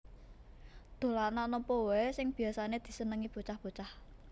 Dolanan opo wae sing biasane disenengi bocah bocah